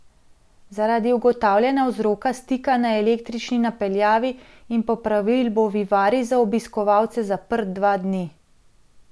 Zaradi ugotavljanja vzroka stika na električni napeljavi in popravil bo vivarij za obiskovalce zaprt dva dni.